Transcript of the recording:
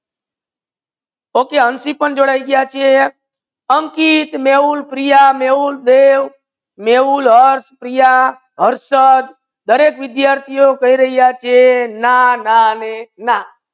Okay Hansi પણ જોડાઈ ગયા છે અંકિત, મેહુલ, પ્રિયા, મેહુલ, દેવ, મેહુલ, અર્થ, પ્રિયા, હર્ષદ દરેક વિદ્યાર્થિ કહી રહા છે ના ના ને ના